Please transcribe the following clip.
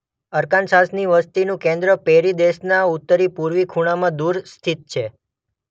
અરકાનસાસની વસતીનું કેન્દ્ર પેરી પ્રદેશના ઉત્તરી પૂર્વી ખૂણામાં દૂર સ્થિત છે.